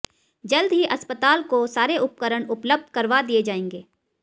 जल्द ही अस्पताल को सारे उपकरण उपलब्ध करवा दिए जाएंगे